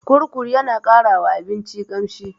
Kurkur yana ƙara wa abinci ƙamshi.